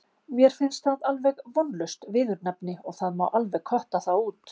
Mér finnst það alveg vonlaust viðurnefni og það má alveg kötta það út.